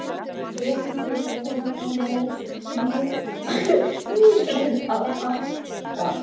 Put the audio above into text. Flíkurnar virðast alveg hafa sloppið við slettur.